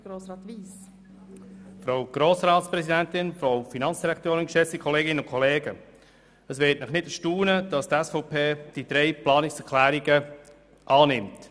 Es wird Sie nicht erstaunen, dass die SVP die drei Planungserklärungen annimmt.